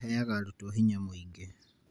Aheaga arutwo hinya mũingĩ